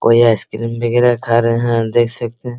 कोई आइसक्रीम बिग रहा है खा रहे हैं देख सकते हैं ।